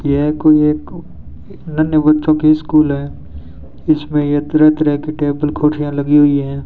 यह कोई एक नन्हे बच्चों कि स्कूल है इसमें ये तरह तरह कि टेबल कुर्सियां लगी हुई हैं।